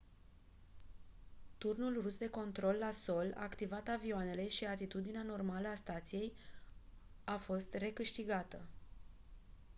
turnul rus de control la sol a activat avioanele și atitudinea normală a stației a fost recâștigată